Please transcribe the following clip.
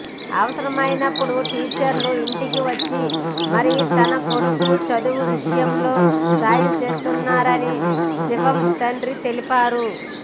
అవసరమైనప్పుడు టీచర్లు ఇంటికి వచ్చి మరీ తన కొడుకు చదువు విషయంలో సాయం చేస్తున్నారని శివం తండ్రి తెలిపారు